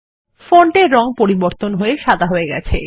ফন্টের রং পরিবর্তন হয়ে সাদা হয়ে গেছে